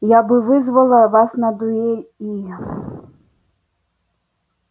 я бы вызвала вас на дуэль и